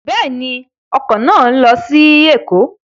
Bẹ́ẹ̀ni, ọkọ̀ náà lọ sí Ẹ̀kọ́